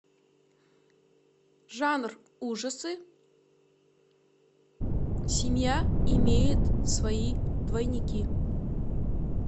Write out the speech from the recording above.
жанр ужасы семья имеет свои двойники